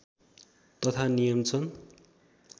तथा नियम छन्